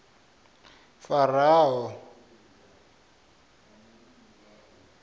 faraho